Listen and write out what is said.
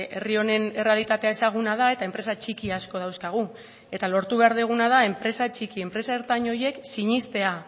herri honen errealitatea ezaguna da eta enpresa txiki asko dauzkagu eta lortu behar duguna da enpresa txiki enpresa ertain horiek sinestea